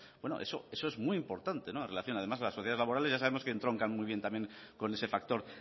eso es muy importante además las sociedades laborales ya sabemos que entroncan muy bien también con ese factor